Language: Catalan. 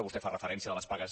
vostè fa referència de les pagues